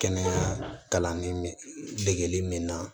Kɛnɛya kalanni degeli min na